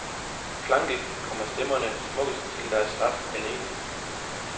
Klangligt kommer stemmerne smukkest til deres ret alene.